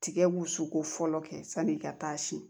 Tigɛ wusu ko fɔlɔ kɛ sani i ka taa siyɛn